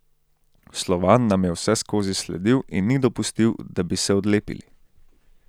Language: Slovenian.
Slovan nam je vseskozi sledil in ni dopustil, da bi se odlepili.